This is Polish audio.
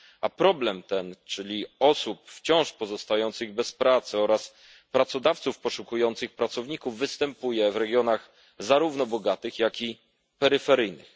A problem ten, czyli osób wciąż pozostających bez pracy oraz pracodawców poszukujących pracowników, występuje w regionach zarówno bogatych, jak i peryferyjnych.